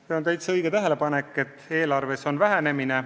See on täiesti õige tähelepanek, et eelarves on vähenemine.